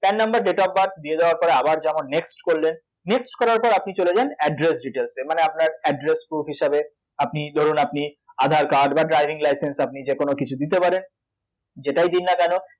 PAN number date of birth দিয়ে দেওয়ার পরে আবার যেমন next করলেন next করার পর আপনি চলে যান address details এ মানে আপনার address proof হিসেবে আপনি ধরুন আপনি AAdhar card বা driving license যেকোনো কিছু দিতে পারেন যেটাই দিন না কেন